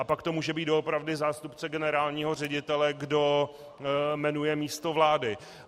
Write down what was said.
A pak to může být doopravdy zástupce generálního ředitele, kdo jmenuje místo vlády.